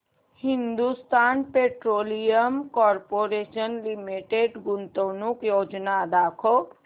Hindustan petroleum corporation limited गुंतवणूक योजना दाखव